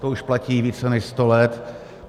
To už platí více než sto let.